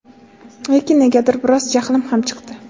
Lekin negadir biroz jahlim ham chiqdi.